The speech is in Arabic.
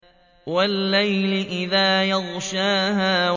وَاللَّيْلِ إِذَا يَغْشَاهَا